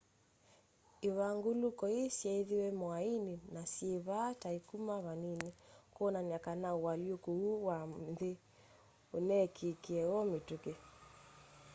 ivanguluko ii syeithiwe mwaini na syivyaa ta ikuma vanini kwonania kana ualyũkũ ũu wa nthi uneekikie o mitũki